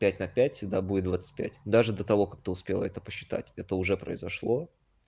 пять на пять всегда будет двадцать пять даже до того как ты успела это посчитать это уже произошло